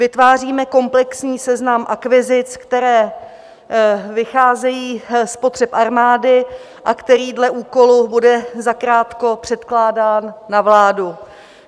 Vytváříme komplexní seznam akvizic, které vycházejí z potřeb armády a který dle úkolu bude zakrátko předkládán na vládu.